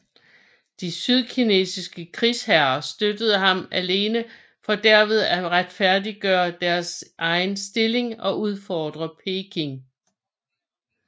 De sydkinesiske krigsherrer støttede ham alene for derved at retfærdiggøre deres egen stilling og udfordre Peking